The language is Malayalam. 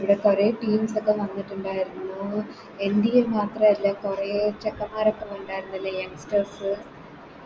പിന്നെ പഴയ Teams ഒക്കെ വന്നിട്ടുണ്ടായിരുന്നു NDA മാത്രല്ല കൊറേ ചെക്കൻമ്മാരോക്കെ ഉണ്ടാരുന്നല്ലേ Youngsters